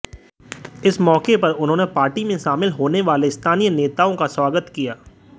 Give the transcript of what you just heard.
इस मौके पर उन्होंने पार्टी में शामिल होने वाले स्थानीय नेताओं का स्वागत किया